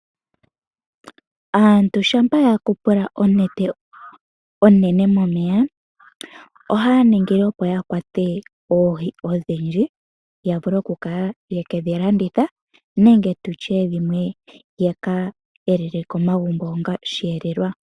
Aantu shampa yu umbu onete onene momeya ohaya ningi opo yakwate oohi odhindji yavule okukala yekedhilanditha nenge dhimwe yaka elele komagumbo onga omweelelo.